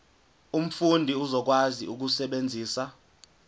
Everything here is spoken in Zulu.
umfundi uzokwazi ukusebenzisa